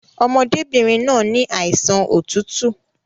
Ọmọdébìnrin náà ni àìsàn otútù